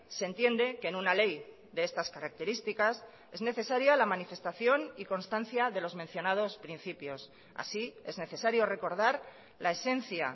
se entiende que en una ley de estas características es necesaria la manifestación y constancia de los mencionados principios así es necesario recordar la esencia